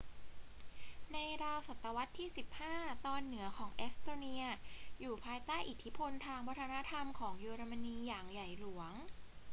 ในราวศตวรรษที่ 15 ตอนเหนือของเอสโตเนียอยู่ภายใต้อิทธิพลทางวัฒนธรรมของเยอรมนีอย่างใหญ่หลวง